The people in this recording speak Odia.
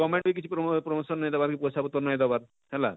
govement ନେ କିଛି ପ୍ର promotion ନାଇଁ ଦେବାର କି ପଇସା ପତର ନାଇଁ ଦେବାର ହେଲା,